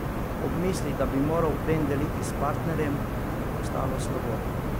Ob misli, da bi moral plen deliti s partnerjem, mu je postalo slabo.